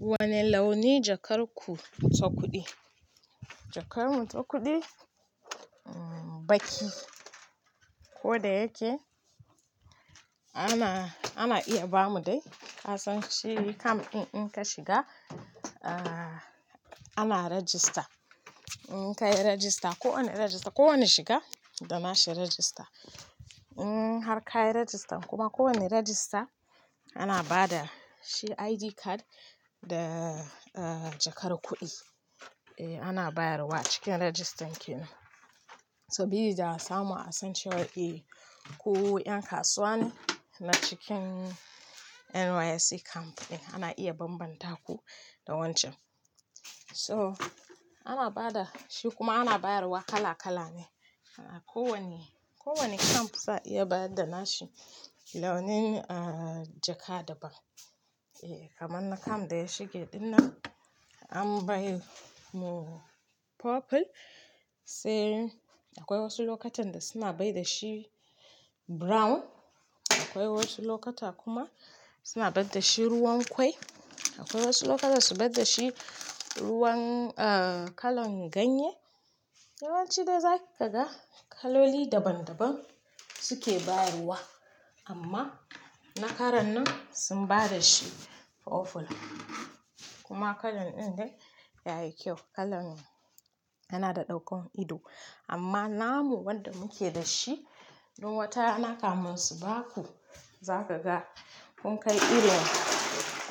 Wane launi jakar ku ta kuɗi? Jakar mu ta kuɗi baki. Ko da yake ana iya ba mu dai. Kasan shi kam in ka shiga ana rajista. In ka yi rajista, kowane shiga da na shi rajista. Har ka yi rajista kuma kowane rajista ana ba da shi ID card da jakar kuɗi ana bayarwa cikin rajistan kenan. Saboda samun a sanctuary ku 'yan kasuwa ne na cikin NYSC camp ɗin ana iya banbanta ku da wancan. So ana ba da shi kuma ana bayarwa kala kala ne. Kowane camp za a iya ba da na shi launin jaka daban. Kamar na camp da ya shige ɗin nan an bayi mu purple sai akwai wasu lokutan da suna bai da shi brown. Akwai wasu lokuta kuma suna bar da shi ruwan kwai. Akwai wasu lokuta su bar da shi kalan ganye. Yawancin da zaka ga kaloli daban daban suke baruwa amma na karon nan sun bada shi purple kuma kalan ɗin dai yayi kyau. Kalan yana da ɗaukan ido amma namu wanda muke da shi don watanna kamun su baku za ka ga kun kai irin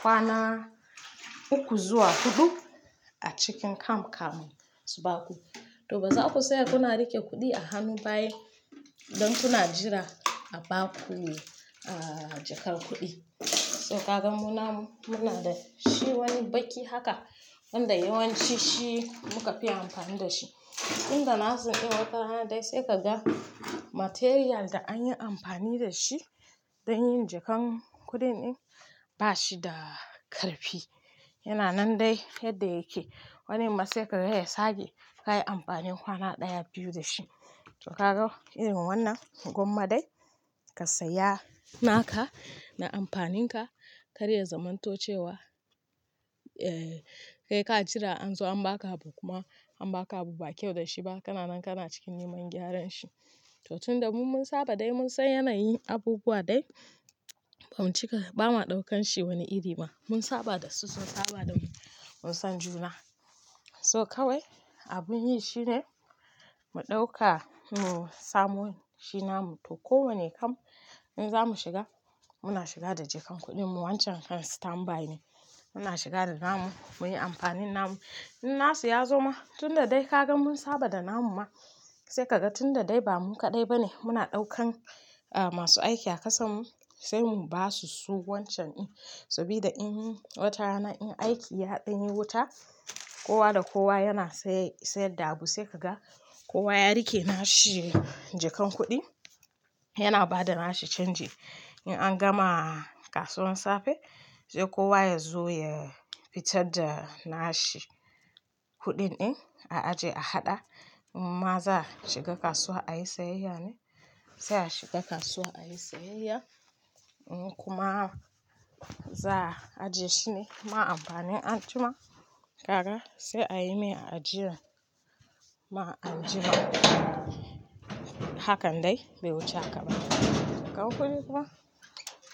kwana uku zuwa huɗu a cikin kam-kamun su baku. To ba za ku saya kuna riƙe kuɗi a hannu ba ne don kuna jira a baku jakar kuɗi. To kaga mu na da shi wani baki haka wanda yawanci shi muka fi amfani da shi. Inda nasu in watanna dai sai kaga material da an yi amfani da shi don yin jakan kuɗin ɗin ba shi da ƙarfi. Yana nan dai yadda yake. Wani masekar dai ya sake kayi amfani kwana ɗaya biyu da shi. To kaga irin wannan gwamma dai ka saya naka na amfanin ka. Kare zamantocewa. Kai ka jira an zo an ba ka abu kuma an ba ka abu ba kyau da shi ba. Kana nan kana cikin neman gyaran shi. To tunda mun saba dai mun san yanayin abubuwa dai bam cika, ba ma ɗaukan shi wani iri ba. Mun saba da su, sun saba da mu mun san juna. So kawai abun yi shine mu ɗauka mu samo shi namu. To kowane camp in za mu shiga muna shiga da jakan kuɗin mu. Wancan kan stand by ne. Muna shiga da namu muyi amfanin namu. In nasu ya zo ma tunda dai kaga mun saba da namu ma sai kaga tunda dai ba mu kaɗai ba ne muna ɗaukan masu aiki a kasan mu sai mu ba su su wancan in saboda in watanna in aiki ya ɗinye wuta kowa da kowa yana sayar da abu sai kaga kowa ya rike na shi jakan kuɗi yana ba da na shi canji. In an gama kasuwan safe sai kowa ya zo ya fitar da na shi kuɗin ɗin a aje a haɗa. Maza shiga kasuwa ayi sayayya ne. Sai a shiga kasuwa ayi sayayya ko kuma za a ajiye shi ne ma amfanin anjima. Kaga sai ayi mai ajira ma ajira. Hakan dai bai wuce haka ba. Kawun kuɗi kuma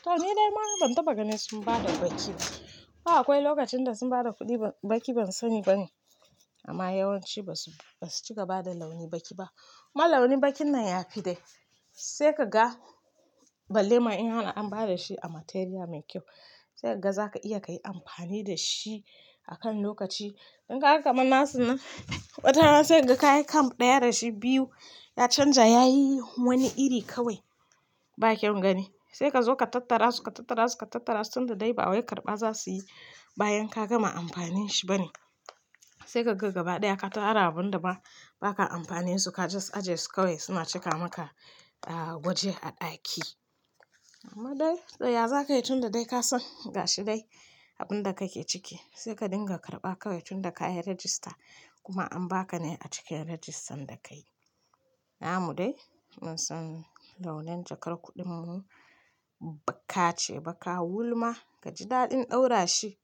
to ni dai mara ban taɓa ganin sun ba da baki ba. Akwai lokacin da sun ba da kuɗin baki ban sani ba ne amma yawanci ba su cika ba da launi baki ba. Amma launi bakin nan ya fi dai sai ka ga balle ma in har an ba da shi a material mai kyau sai kaga za ka iya kayi amfani da shi akan lokaci. In ka ga kamar nasu nan watanna sai ka ga kayi camp ɗaya da shi biyu ya canja, ya yi wani iri kawai ba kyau gani. Sai ka zo ka tattara su ka tattara su ka tattara su tunda dai ba wa karɓa za su yi bayan ka gama amfanin shi ba ne. Sai ka ga gaba ɗaya ka taro abun da ba ka amfanin su ka just aje su kawai suna cika maka waje a ɗaki. Amma dai tsaya za ka yi tunda dai ka san gashi dai abun da kake ciki sai ka dinga karɓa kawai tunda ka yi rajista kuma an ba ka ne a cikin rajistan da ka yi. Namu dai mun san launin jakar kuɗin mu bakka ce, baka wulma. Ka ji daɗin ɗaura shi.